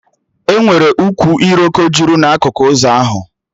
Enwere ukwu iroko jụrụ na akụkụ ụzọ ahụ